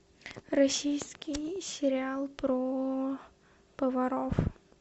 российский сериал про поваров